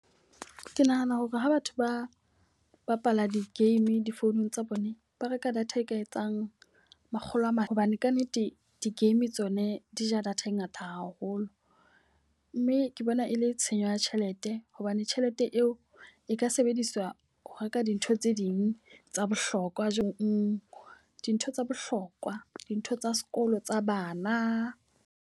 Ke nahana hore ha batho ba bapala di-game difounung tsa bone, ba reka data e ka etsang makgolo a mane. Hobane ka nnete di-game tsone di ja data e ngata haholo. Mme ke bona e le tshenyo ya tjhelete hobane tjhelete eo e ka sebediswa ho reka dintho tse ding tsa bohlokwa dintho tsa bohlokwa, dintho tsa sekolo tsa bana.